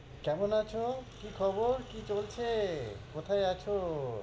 কেমন আছো, কি খবর, কি চলছে, কোথায় আছো?